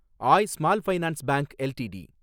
Aay small finance bank LTD